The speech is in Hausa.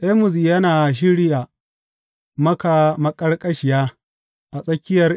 Amos yana shirya maka maƙarƙashiya a tsakiyar Isra’ila.